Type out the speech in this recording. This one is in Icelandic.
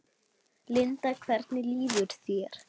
Linda: Hvernig líður þér?